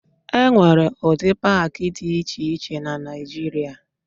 E nwere ụdị paakị dị iche iche na Naịjịrịa.